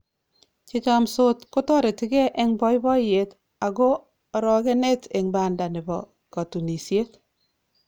Chechomsoot kotoretigei eng boiboiyet ako orogenet eng banda nebo katunisyet.